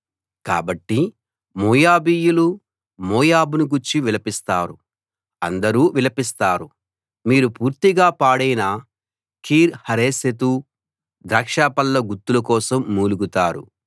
కాబట్టి మోయాబీయులు మోయాబును గూర్చి విలపిస్తారు అందరూ విలపిస్తారు మీరు పూర్తిగా పాడైన కీర్ హరెశెతు ద్రాక్షపళ్ళ గుత్తుల కోసం మూలుగుతారు